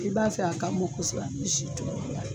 I b'a fɛ a ka mɔn kosɛbɛ a bɛ si tulula.